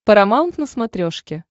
парамаунт на смотрешке